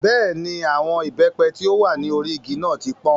Bẹ́ẹ̀ni, àwọn ìbẹ́pẹ tí ó wà ní orí igi náà ti pọ́n.